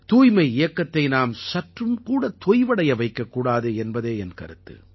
தூய்மை இயக்கத்தை நாம் சற்றும் கூடத் தொய்வடைய வைக்கக்கூடாது என்பதே என் கருத்து